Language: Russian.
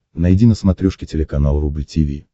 найди на смотрешке телеканал рубль ти ви